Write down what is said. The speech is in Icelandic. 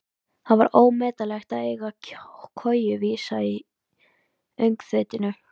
Það var ómetanlegt að eiga koju vísa í öngþveitinu.